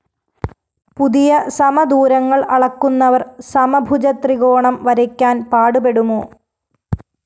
പുതിയ സമദൂരങ്ങള്‍ അളക്കുന്നവര്‍ സമഭുജ ത്രികോണം വരയ്ക്കാന്‍ പാടുപെടുമോ